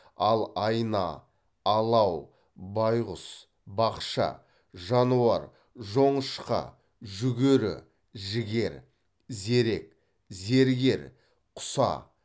ал айна алау байқұс бақша жануар жонышқа жүгері жігер зерек зергер құса